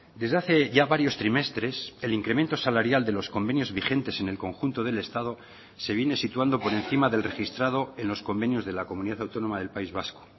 desde hace ya varios trimestres el incremento salarial de los convenios vigentes en el conjunto del estado se viene situando por encima del registrado en los convenios de la comunidad autónoma del país vasco